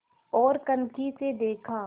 ओर कनखी से देखा